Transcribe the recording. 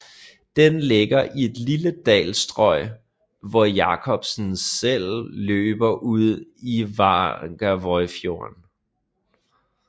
Den ligger i et lille dalstrøg hvor Jakobselv løber ud i Varangerfjorden